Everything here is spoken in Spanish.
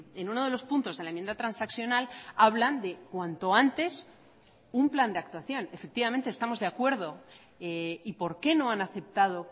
en uno de los puntos de la enmienda transaccional hablan de cuanto antes un plan de actuación efectivamente estamos de acuerdo y por qué no han aceptado